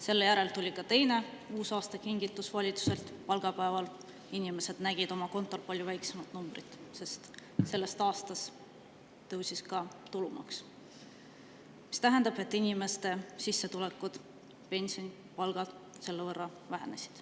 Selle järel tuli ka teine uusaastakingitus valitsuselt: palgapäeval nägid inimesed oma kontol palju väiksemat numbrit, sest sellest aastast tõusis ka tulumaks, mis tähendab, et inimeste sissetulekud, pensionid, palgad selle võrra vähenesid.